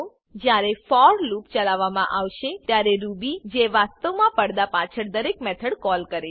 જયારે for loop ચલાવવામા આવશે ત્યારે રૂબી જે વાસ્તવમાં પડદા પાછળ દરેક મેથડ કૉલ કરે છે